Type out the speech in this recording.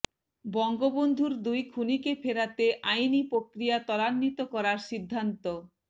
বঙ্গবন্ধুর দুই খুনিকে ফেরাতে আইনি প্রক্রিয়া ত্বরান্বিত করার সিদ্ধান্ত